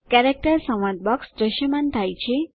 character સંવાદ box દ્રશ્યમાન થાય છે